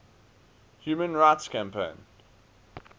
human rights campaign